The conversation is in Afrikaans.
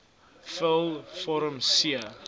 vul vorm c